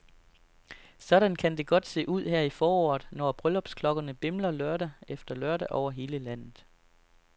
Sådan kan det godt se ud her i foråret, når brylluppesklokkerne bimler lørdag efter lørdag over hele landet.